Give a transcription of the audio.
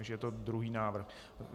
Takže je to druhý návrh.